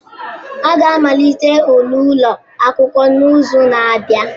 A ga-amalite ule ụlọ akwụkwọ n'izu na-abịa?